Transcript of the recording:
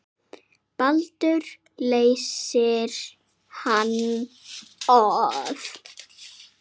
Baldur leysir hann af.